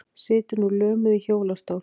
Situr nú lömuð í hjólastól.